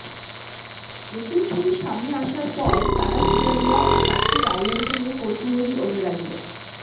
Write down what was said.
নতুন ছবি সামনে আসার পর তারা সুতারিয়া ও কার্তিক আরিয়ানকে নিয়ে কৌতুহলী অনুরাগীরা